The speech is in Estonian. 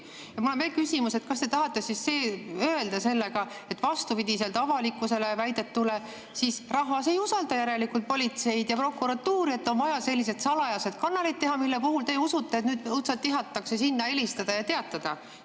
Ja mul on veel küsimus, et kas te tahate siis öelda sellega, et vastupidiselt avalikkuses väidetule rahvas ei usalda järelikult politseid ja prokuratuuri, et on vaja sellised salajased kanalid teha, mille puhul te usute, et õudselt tihatakse sinna helistada ja teatada.